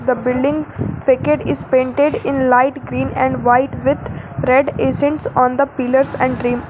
The building is painted in light green and white with red essence on the pillars and dream.